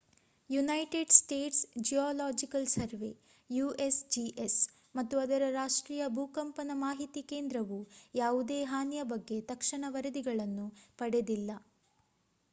United States Geological Survey usgs ಮತ್ತು ಅದರ ರಾಷ್ಟ್ರೀಯ ಭೂಕಂಪನ ಮಾಹಿತಿ ಕೇಂದ್ರವು ಯಾವುದೇ ಹಾನಿಯ ಬಗ್ಗೆ ತಕ್ಷಣ ವರದಿಗಳನ್ನು ಪಡೆದಿಲ್ಲ